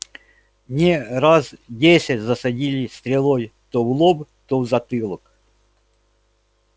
мне раз десять засадили стрелой то в лоб то в затылок